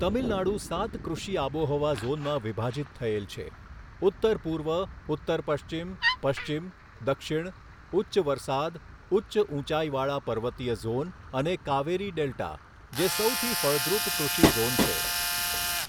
તમિલનાડુ સાત કૃષિ આબોહવા ઝોનમાં વિભાજિત થયેલ છે, ઉત્તરપૂર્વ, ઉત્તરપશ્ચિમ, પશ્ચિમ, દક્ષિણ, ઉચ્ચ વરસાદ, ઉચ્ચ ઊંચાઈવાળા પર્વતીય ઝોન અને કાવેરી ડેલ્ટા, જે સૌથી ફળદ્રુપ કૃષિ ઝોન છે.